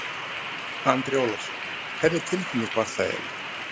Andri Ólafsson: Hvernig, hvernig tilfinning var það eiginlega?